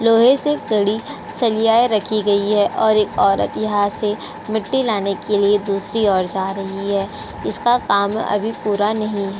लोहे से कड़ी सलियाएं रखी गई है और एक औरत यहाँ से मिट्टी लाने के लिए दूसरी ओर जा रही है। इसका काम अभी पूरा नहीं है।